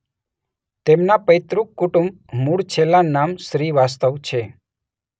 તેમના પૈતૃક કુટુંબ મૂળ છેલ્લા નામ શ્રીવાસ્તવ છે